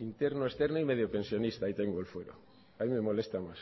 interno externo y mediopensionista ahí tengo el fuero ahí me molesta más